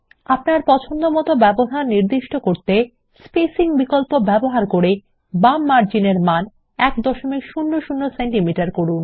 আপনার পছন্দমতো ব্যবধান নির্দিষ্ট করতে বাম মার্জিন -এর মান 100সিএম করুন